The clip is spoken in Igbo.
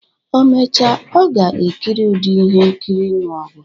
O mecha, ọ ga-ekiri ụdị ihe nkiri ịnụ ọgụ.